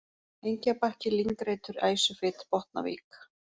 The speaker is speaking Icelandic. Engjabakki, Lyngreitur, Æsufit, Botnavik